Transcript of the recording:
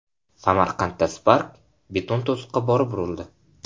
Samarqandda Spark beton to‘siqqa borib urildi.